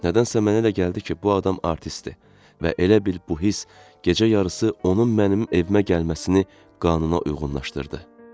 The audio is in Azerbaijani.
Nədənsə mənə elə gəldi ki, bu adam artistdir və elə bil bu hiss gecə yarısı onun mənim evimə gəlməsini qanuna uyğunlaşdırdı.